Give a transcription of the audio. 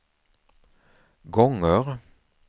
gånger